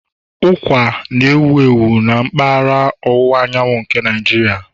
Ụkwa na-ewu ewu na mpaghara ọwụwa anyanwụ nke Nigeria